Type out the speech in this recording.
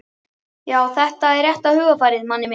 Já, þetta er rétta hugarfarið, Manni minn.